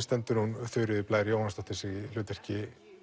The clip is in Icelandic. stendur hún Þuríður Blær Jóhannsdóttir sig í hlutverki